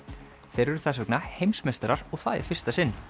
þeir eru þess vegna heimsmeistarar og það í fyrsta sinn